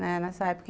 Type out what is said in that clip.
Nessa época.